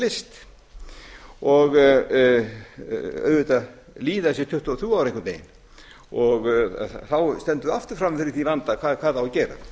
leyst auðvitað líða þessi tuttugu og þrjú einhvern veginn þá stöndum við aftur frammi fyrir þeim vanda hvað á að gera